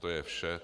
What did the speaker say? To je vše.